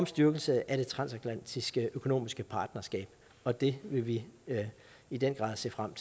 styrkelse af det transatlantiske økonomiske partnerskab og det vil vi i den grad se frem